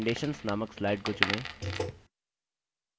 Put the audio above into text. recommendations नामक slide को चुनें